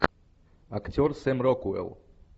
актер сэм рокуэлл